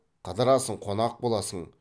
қыдырасың қонақ боласын